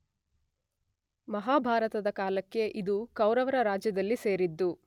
ಮಹಾಭಾರತದ ಕಾಲಕ್ಕೆ ಇದು ಕೌರವರ ರಾಜ್ಯದಲ್ಲಿ ಸೇರಿದ್ದು